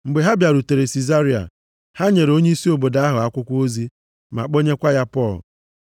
Mgbe ha bịarutere Sizaria, ha nyere onyeisi obodo ahụ akwụkwọ ozi, ma kpọnyekwa ya Pọl.